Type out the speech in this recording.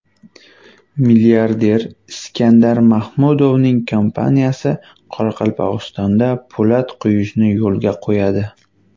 Milliarder Iskandar Mahmudovning kompaniyasi Qoraqalpog‘istonda po‘lat quyishni yo‘lga qo‘yadi.